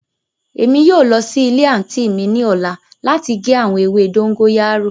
Emi yóò lọ si ile anti mi ni ọla lati ge awọn ewe dogoyaro